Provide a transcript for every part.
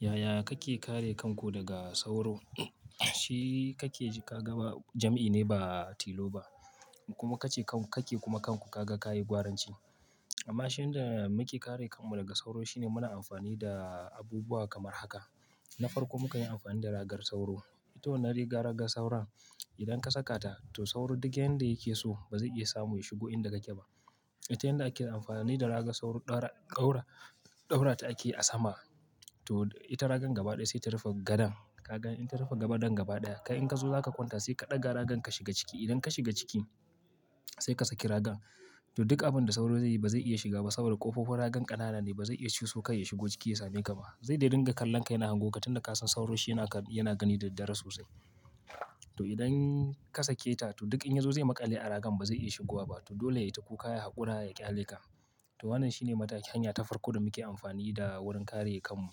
Yaya kake kare kanku daga sauro? Shi kake ji, ka gaba jam'i ne ba tilo ba. Kuma kake kuma kanku ka ga ka yi gwaranci. Amma shi yanda muke kare kanmu daga sauro shine muna amfani da abubuwa kamar haka. Na farko mukan yi amfani da ragar sauro. Ita wannan riga ragar sauron idan ka saka ta, to sauro duk yanda yake so ba zai iya samu ya shigo in daga ke ba. Ita yanda ake amfani da raga sauro, ɗaura ta ake a sama. To ita ragan gaba ɗaya sai ta rufe gadan. Ka ga in ta rufe gadon gaba ɗaya, kai in ka zo za ka kwanta sai ka ɗaga ragan ka shiga ciki. Idan ka shiga ciki sai ka saki ragan. To duk abin da sauro zai yi ba zai iya shiga ba saboda ƙofofin ragan ƙanana ne. Ba zai iya cu so kai ya shigo ciki ya same ka ba. Zai dai ringa kallon ka yana hango ka tun da ka san sauro shi yana gani da daddare sosai. To idan ka sake ta, to duk in yazo zai maƙale a ragan ba zai iya shigowa ba. To dole ya yi ta kuka, ya yi hakura, ya ƙyale ka. To wannan shine mataki, hanya ta farko da muke amfani da wurin kare kanmu.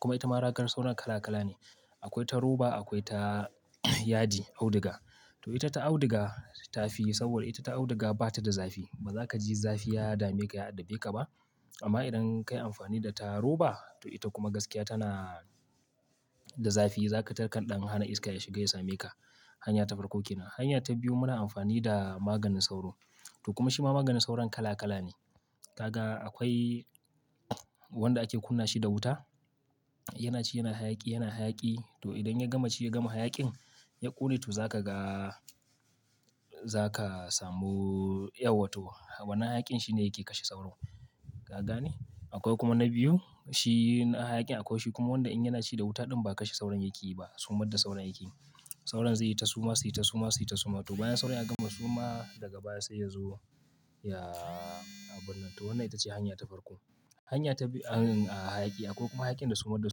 Kuma ita ma ragar sauron kala kala ne. Akwai ta roba, akwai ta yadi, audiga. To ita ta audiga ta fi saboda ita ta audiga ba ta da zafi. Ba za ka ji zafi ya dame ka, ya addaɓe ka ba. Amma idan ka yi amfani da ta roba, to ita kuma gaskiya tana da zafi. Za ka tarkar ɗan hana iska ya shiga ya same ka. Hanya ta farko ke nan. Hanya ta biyu muna amfani da maganin sauro. To kuma shi ma maganin sauron kala kala ne. Ka ga akwai wanda ake kunna shi da wuta. Yana ciyi, yana hayaƙi, yana hayaƙi. To idan ya gama ci, ya gama hayaƙin, ya ƙure to za ka ga za ka samu yawa to. Wannan hayaƙin shi ne yake kashe sauro. Ka gane? Akwai kuma na biyu. Shi na hayaƙi akwai shi kuma wanda in yana ciyi da wuta ɗin ba ka she sauron yake yi ba. Sumar da sauron yake yi. Sauron zai yi ta suma, suyi ta suma, suyi ta suma. To bayan sauro ya gama suma daga baya sai yazo ya abun nan. To wannan ita ce hanya ta farko. Hanya ta biyu hayaƙi akwai kuma hayaƙin da sumar da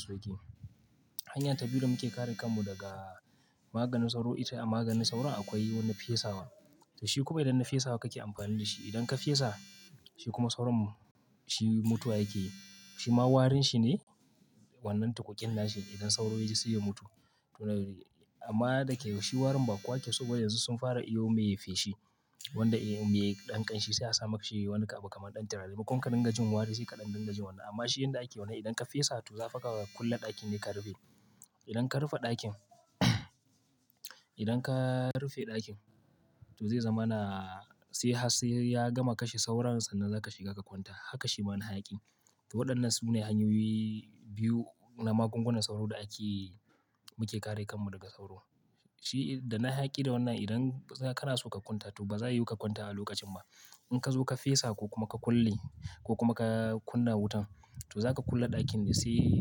su yake. Hanya ta biyu da muke kare kanmu daga maganin sauro. Ita a maganin sauron akwai wani fesawa. To shi kuma idan na fesawa kake amfani da shi, idan ka fesa shi kuma sauron shi mutuwa yake yi. Shi ma warin shi ne wannan tuƙuƙin nashi idan sauro ya ji sai ya mutu. Amma da ke shi warin ba kuwa yake soba. Yanzu sun fara iyo me feshe. Wanda in ya yi ɗanƙan shi sai a samaka shi wani abu kamar ɗan tira. Mai makon kadinga jin wari sai kaɗan ɗan gajin wannan. Amma shi yanda yake wannan idan ka fesa to za ka kula ɗakin ne ka rufe. Idan ka rufe ɗakin, idan ka rufe ɗakin to zai zama na sai ya gama kashe sauron sannan za ka shiga ka kwanta. Haka shi ma na hayaƙi. To waɗannan su ne hanyoyi biyu na magungunan sauro da ake, muke kare kanmu daga sauro. Shi da na hayaƙi da wannan idan ka naso ku ka kwanta to ba zaiyu ka kwanta a lokacin ba. In ka zo ka fesa ko kuma ka kulle ko kuma ka kunna wutan, to za ka kula ɗakin da sai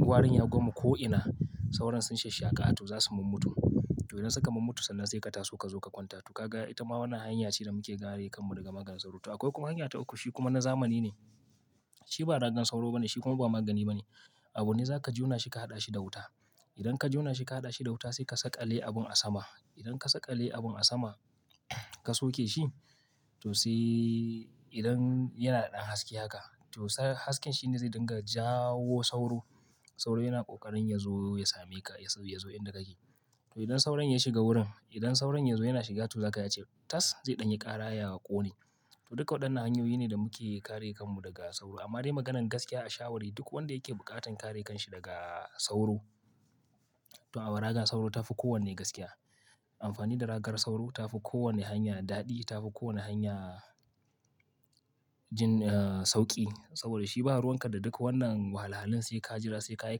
gwarin ya game ko'ina. Sauron sun shash shaƙa to za su mum mutu. To idan suka mummutu sannan sai ka taso ka zo ka kwanta. To ka ga ita ma wannan hanya ce da muke kare kanmu daga maganin sauro. To akwai kuma hanya ta uku. Shi kuma na zamani ne. Shi ba ragan sauro bane. Shi kuma ba magani bane. Abu ne za ka jona shi ka haɗa shi da wuta. Idan ka juna shi ka haɗa shi da wuta sai ka saƙale abun a sama. Idan ka saƙale abun a sama ka soke shi to sai idan yana da ɗan haske haka to hasken shi ne zai dinga jawo sauro. Sauro yana ƙoƙarin ya zo ya same ka, ya zo inda kake. To idan sauron ya shiga wurin, idan sauron yazo yana shiga to za ka ya ce tas zai ɗan yi ƙara yawa ƙone. To duka waɗannan hanyoyi ne da muke kare kanmu daga sauro. Amma dai maganan gaskiya a shawari duk wanda yake buƙatan kare kanshi daga sauro. To awara gan sauro tafi kowanne gaskiya. Amfani da ragar sauro tafi kowanne hanya daɗi, tafi kowane hanya sauƙi. Saboda shi ba ruwanka da duk wannan wahalhalin sai ka jira sai ka yi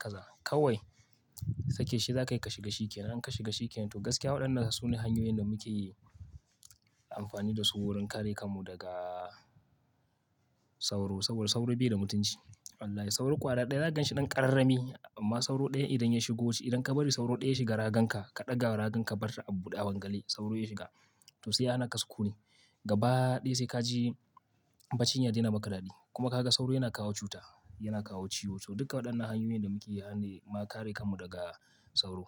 kaza. Kawai sake shi za kayi kashiga shikenan. Idan ka kashiga shikenan to gaskiya waɗannan su ne hanyoyin da muke amfani da su wurin kare kanmu daga sauro. Saboda sauro bai da mutunci. Wallahi sauro ƙwara ɗaya zakan shi ɗan ƙararrami. Amma sauro ɗaya idan ya shigo shi idan ka bari sauro ɗaya ya shiga raganka, ka ɗaga raganka barta wangale sauro ya shiga to sai ya hana kasukuni. Gaba ɗaya sai ka ji bacin ya daina maka daɗi. Kuma ka ga sauro yana kawo cuta, yana kawo ciwo. To duka waɗannan hanyoyi ne da muke hana, kare kanmu daga sauro.